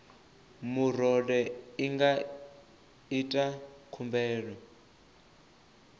murole i nga ita khumbelo